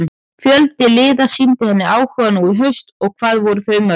Fjöldi liða sýndi henni áhuga nú í haust en hvað voru þau mörg?